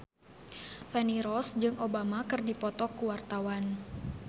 Feni Rose jeung Obama keur dipoto ku wartawan